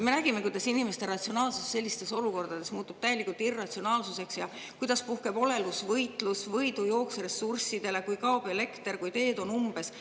Me nägime, kuidas inimeste ratsionaalsus sellistes olukordades muutub täielikult irratsionaalsuseks ja kuidas puhkeb olelusvõitlus, võidujooks ressurssidele, kui kaob elekter, kui teed on umbes.